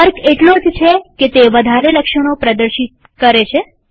ફર્ક એટલો જ છે કે તે વધારે લક્ષણો પ્રદર્શિત થાય છે